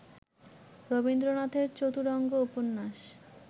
রবীন্দ্রনাথের ‘চতুরঙ্গ’ উপন্যাস